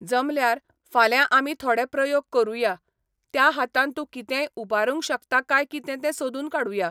जमल्यार, फाल्यां आमीथोडॆ प्रयोग करुंया, त्या हातान तूं कितेंय उबारुंक शकता काय कितें तें सोदून काडूंया.